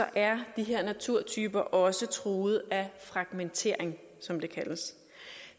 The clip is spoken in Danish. er de her naturtyper også truet af fragmentering som det kaldes